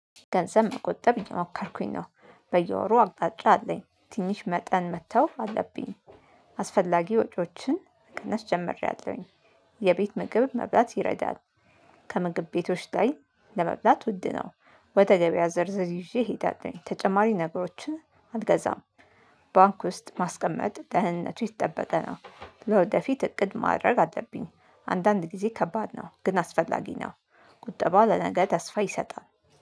ገንዘብ መቆጠብ እየሞከርኩኝ ነው በየወሩ አቅጣጫ አለኝ ትንሽ መጠን መተው አለብኝ። አስፈላጊ ወጪዎችን መቀነስ ጀምሬያለሁኝ። የቤት ምግብ መብላት ይረዳል። ከምግብ ቤቶች ላይ ለመብላት ውድ ነው። ወደ ገበያ ዝርዝር ይዤ እሄዳለሁኝ ተጨማሪ ነገሮችን አልገዛም። ባንክ ውስጥ ማስቀመጥ ደህንነቱ የተጠበቀ ነው። ለወደፊት እቅድ ማድረግ አለብኝ። አንዳንድ ጊዜ ከባድ ነው ግን አስፈላጊ ነው። ቁጠባ ለነገ ተስፋ ይሰጣል